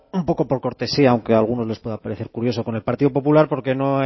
un poco por cortesía aunque a algunos les pueda parecer curioso con el partido popular porque no